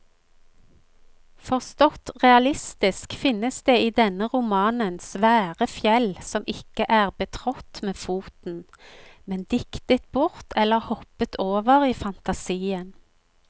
Forstått realistisk finnes det i denne romanen svære fjell som ikke er betrådt med foten, men diktet bort eller hoppet over i fantasien.